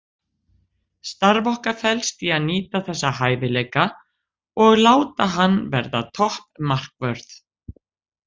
Starf okkar felst í að nýta þessa hæfileika og láta hann verða topp markvörð.